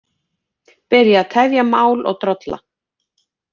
Byrja að tefja mál og drolla